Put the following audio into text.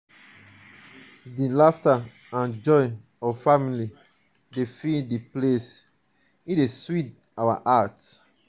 di laughter and joy of family dey fill di place dey sweet our heart.